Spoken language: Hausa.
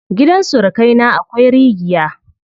Gidan surukai na akwai rigiya.